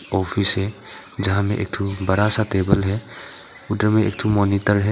Office है जहां पर एक बड़ा सा टेबल है उधर एक मॉनिटर है।